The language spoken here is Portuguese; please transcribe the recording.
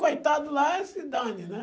Coitado lá, se dane, né?